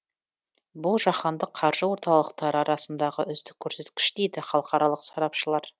бұл жаһандық қаржы орталықтары арасындағы үздік көрсеткіш дейді халықаралық сарапшылар